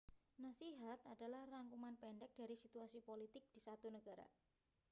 nasihat adalah rangkuman pendek dari situasi politik di 1 negara